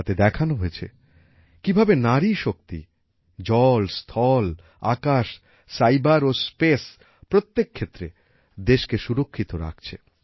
তাতে দেখানো হয়েছে কিভাবে নারী শক্তি জল স্থল আকাশ সাইবার ও স্পেস প্রত্যেক ক্ষেত্রে দেশকে সুরক্ষিত রাখছে